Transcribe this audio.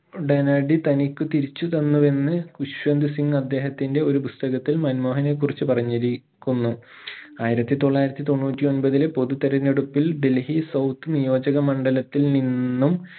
ഉടനടി തനിക്കു തിരിച്ചുതന്നുവെന്ന് വിശ്വന്ത്‌ സിംഗ് അദ്ദേഹത്തിന്റെ ഒരു പുസ്തകത്തിൽ മൻമോഹനെ കുറിച്ചു പറഞ്ഞിരിക്കുന്നു ആയിരത്തി തൊള്ളായിരത്തി തൊണ്ണൂറ്റി ഒമ്പതിൽ പൊതു തിരെഞ്ഞെടുപ്പിൽ ഡൽഹി south നിയോജക മണ്ഡലത്തിൽ നിന്നും